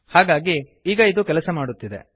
ಹಾಗಾಗಿ ಈಗ ಇದು ಕೆಲಸ ಮಾಡುತ್ತಿದೆ